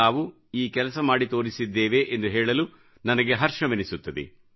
ನಾವು ಈ ಕೆಲಸ ಮಾಡಿ ತೋರಿಸಿದ್ದೇವೆ ಎಂದು ಹೇಳಲು ನನಗೆ ಹರ್ಷವೆನಿಸುತ್ತದೆ